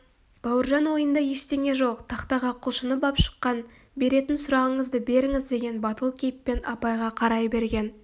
бауыржан ойында ештеңе жоқ тақтаға құлшынып-ақ шыққан беретін сұрағыңызды беріңіз деген батыл кейіппен апайға қарай берген